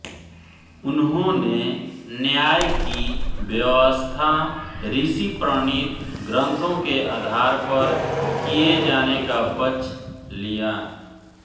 उन्होंने न्याय की व्यवस्था ऋषि प्रणीत ग्रन्थों के आधार पर किए जाने का पक्ष लिया